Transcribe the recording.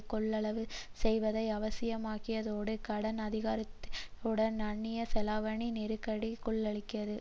கொள்வனவு செய்வதை அவசியமாக்கியதோடு கடன் அதிகரித்துடன் அன்னிய செலாவணி நெருக்கடிக்குள்ளாகியது